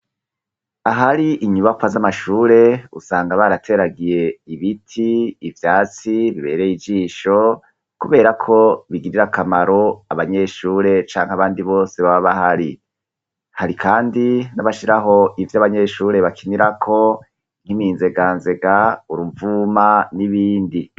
Ahari inyubakwa z'amashure usanga barateragiye ibiti ivyatsi bibereye ijisho, kubera ko bigirira akamaro abanyeshure canke abandi bose baba bahari hari, kandi nabashiraho ivyo abanyeshure bakinirako nk'iminzega nzega urumvuma ni'ibindi.